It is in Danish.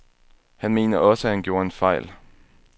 Han mener også, at han gjorde en fejl.